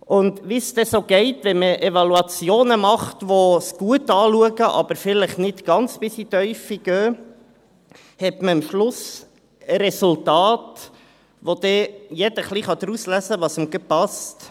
Und: Wie es dann so geht, wenn man Evaluationen macht, die etwas gut anschauen, aber vielleicht nicht bis ganz in die Tiefe gehen, hat man am Schluss Resultate, aus denen dann jeder ein wenig herauslesen kann, was ihm gerade passt.